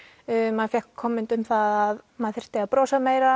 maður fékk komment um það að maður þyrfti að brosa meira